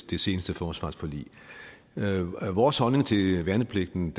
det seneste forsvarsforlig vores holdning til værnepligten